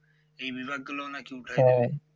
এই বিভাগগুলোও নাকি উঠায়ে